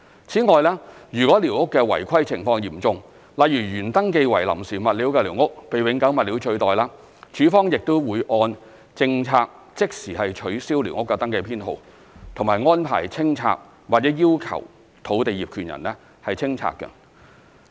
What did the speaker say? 此外，如寮屋的違規情況嚴重，例如原登記為臨時物料的寮屋被永久物料取代，署方亦會按政策即時取消寮屋登記編號及安排清拆或要求土地業權人清拆。